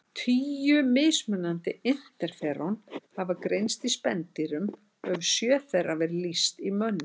Tíu mismunandi interferón hafa greinst í spendýrum og hefur sjö þeirra verið lýst í mönnum.